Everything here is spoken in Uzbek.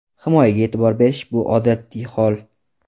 Himoyaga e’tibor berish bu odatiy hol.